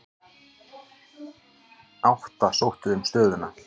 Átta sóttu um stöðuna.